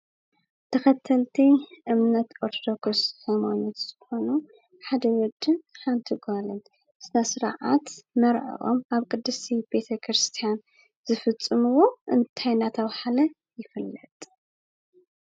ተኸተልቲ እምነት ኦርቶዶክስ ሃይማኖት ዝኾኑ ሓደ ወድን ሓንቲ ጓልን ስነ ስርዓት መርዕኦም ኣብ ቅድስቲ ቤተ ክርስቲያን ዝፍፅምዎ እንታይ እናተብሃለ ይፍለጥ?